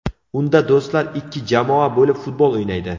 Unda do‘stlar ikki jamoa bo‘lib futbol o‘ynaydi.